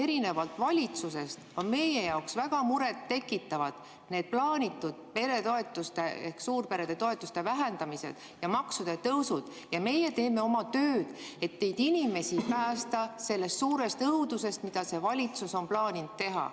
Erinevalt valitsusest on meie jaoks väga muret tekitavad need plaanitud peretoetuste ehk suurperede toetuste vähendamised ja maksude tõusud ja meie teeme oma tööd, et neid inimesi päästa sellest suurest õudusest, mida see valitsus on plaaninud teha.